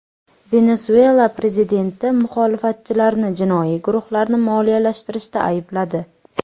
Venesuela prezidenti muxolifatchilarni jinoiy guruhlarni moliyalashtirishda aybladi.